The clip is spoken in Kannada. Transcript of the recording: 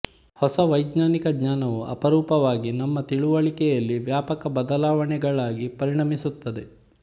ಹೊಸ ವೈಜ್ಞಾನಿಕ ಜ್ಞಾನವು ಅಪರೂಪವಾಗಿ ನಮ್ಮ ತಿಳುವಳಿಕೆಯಲ್ಲಿ ವ್ಯಾಪಕ ಬದಲಾವಣೆಗಳಾಗಿ ಪರಿಣಮಿಸುತ್ತದೆ